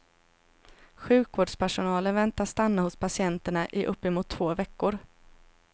Sjukvårdspersonalen väntas stanna hos patienterna i uppemot två veckor.